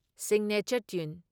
signature tune